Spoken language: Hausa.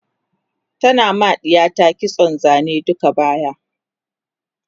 tana ma ɗiyarta kitson Zane duka baya